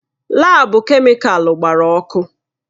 Laabu kemịkalụ gbara ọkụ.